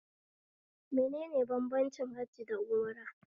Menene bambancin hajji da umra?